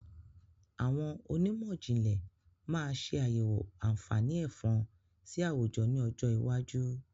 Àwọn onímọ̀jìnlẹ̀ máa ṣe àyẹ̀wọ̀ àǹfààní Ẹ̀fọ̀n sì àwùjọ ni ọjọ́ iwájú